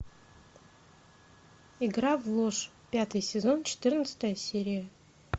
игра в ложь пятый сезон четырнадцатая серия